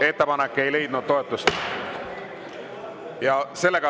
Ettepanek ei leidnud toetust.